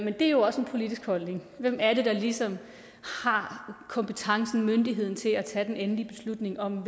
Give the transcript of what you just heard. det er jo også en politisk holdning hvem er det der ligesom har kompetencen myndigheden til at tage den endelige beslutning om